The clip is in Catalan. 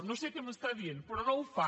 no sé què m’està dient però no ho fa